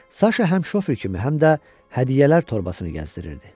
Saşa həm şofer kimi, həm də hədiyyələr torbasını gəzdirirdi.